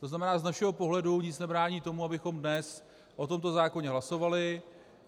To znamená, z našeho pohledu nic nebrání tomu, abychom dnes o tomto zákoně hlasovali.